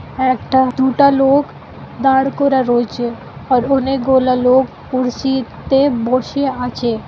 একটা দুটা লোক দাঁড় করা রয়েছে । আর অনেকগুলা লোক কুর্সি-ইতে বসে আছে।